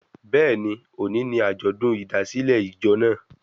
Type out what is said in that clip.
Bẹ́ẹ̀ni, òní ni àjọ̀dún ìdásílẹ̀ ìjọ naa